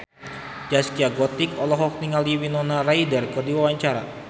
Zaskia Gotik olohok ningali Winona Ryder keur diwawancara